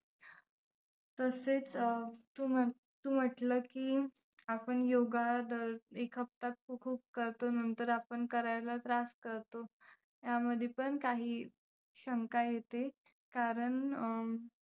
तसेच अं तू तू म्हंटलं की आपण योगा दर एक हाफता खूप करतो नंतर आपण करायला त्रास करतो. यामध्ये पण काही शंका येते कारण अं